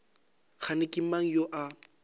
kgane ke mang yo a